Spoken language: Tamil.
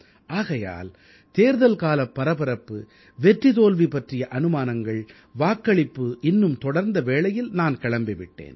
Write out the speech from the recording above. ஆகையால் தேர்தல் காலப் பரபரப்பு வெற்றி தோல்வி பற்றிய அனுமானங்கள் வாக்களிப்பு இன்னும் தொடர்ந்த வேளையில் நான் கிளம்பி விட்டேன்